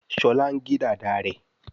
Shola ngè Dàda rẹ.